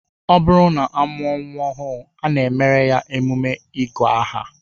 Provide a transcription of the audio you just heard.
Ọ bụrụ na a mụọ nnwa ọhụụ, a na-emere ya emume ịgụ aha